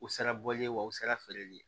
U sera bɔli ye wa u sera feereli ye